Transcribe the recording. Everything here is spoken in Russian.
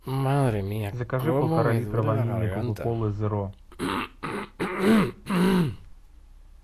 закажи полтора литра ванильной кока колы зеро